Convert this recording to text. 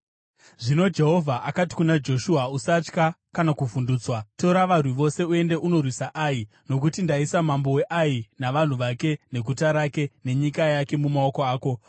Zvino Jehovha akati kuna Joshua, “Usatya kana kuvhundutswa. Tora varwi vose uende unorwisa Ai. Nokuti ndaisa mambo weAi, navanhu vake, neguta rake nenyika yake mumaoko ako.